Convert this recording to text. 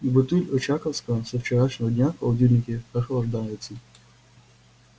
и бутыль очаковского со вчерашнего дня в холодильнике прохлаждается